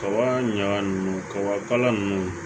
Kaba ɲaga nunnu kaba kala nunnu